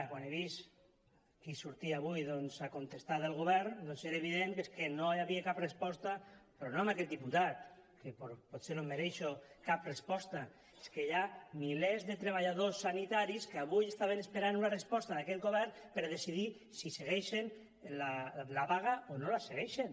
quan he vist qui sortia avui a contestar del govern doncs era evident que és que no hi havia cap resposta però no a aquest diputat que potser no em mereixo cap resposta és que hi ha milers de treballadors sanitaris que avui estaven esperant una resposta d’aquest govern per decidir si segueixen la vaga o no la segueixen